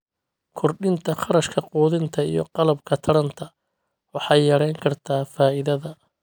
Kordhinta kharashka quudinta iyo qalabka taranta waxay yarayn kartaa faa'iidada.